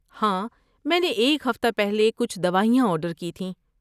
ہاں، میں نے ایک ہفتہ پہلے کچھ دوائیاں آرڈر کی تھیں۔